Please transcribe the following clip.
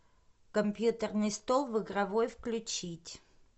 компьютерный стол в игровой включить